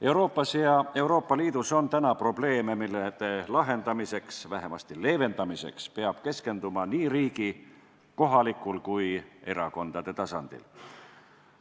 Euroopas ja Euroopa Liidus on probleeme, mille lahendamiseks või vähemasti leevendamiseks peab keskenduma riigi, kohalikul ja ka erakondade tasandil.